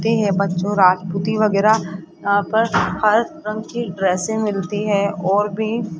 बच्चों राजपूती वगैरा आ पर हर रंग की ड्रेसे मिलती है और भी --